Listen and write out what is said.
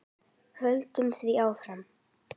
Höldum því áfram.